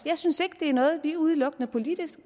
jeg synes ikke det er noget vi udelukkende politisk